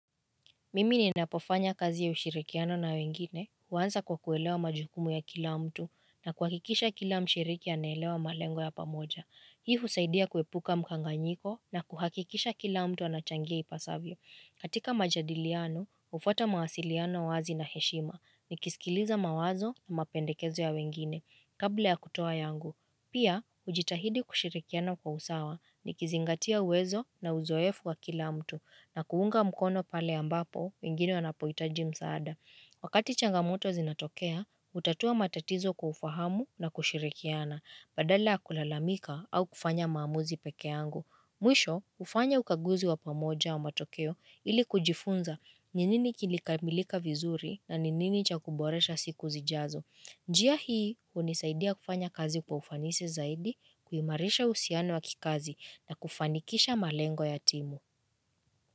Mimi ninapofanya kazi ya ushirikiano na wengine, huanza kwa kuelewa majukumu ya kila mtu na kuhakikisha kila mshiriki anaelewa malengo ya pamoja. Hii husaidia kuepuka mkanganyiko na kuhakikisha kila mtu anachangia ipasavyo. Katika majadiliano, ufuata mawasiliano wazi na heshima nikiskiliza mawazo na mapendekezo ya wengine kabla ya kutoa yangu. Pia, hujitahidi kushirikiana kwa usawa nikizingatia uwezo na uzoefu wa kila mtu, na kuunga mkono pale ambapo, mingini wanapoitaji msaada. Wakati changamoto zinatokea, hutatua matatizo kwa ufahamu na kushirikiana, badala ya kulalamika au kufanya maamuzi peke angu. Mwisho, hufanya ukaguzi wa pamoja wa matokeo ili kujifunza ni nini kilikamilika vizuri na ni nini cha kuboresha siku zijazo. Njia hii hunisaidia kufanya kazi kufanisi zaidi, kuhimarisha uhusiano wa kikazi na kufanikisha malengo ya timu.